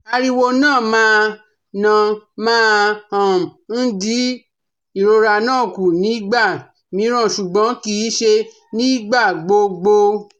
Ariwo na ma na ma um n di irora na ku nigba miran ṣugbọn kii ṣe nigbagbogbo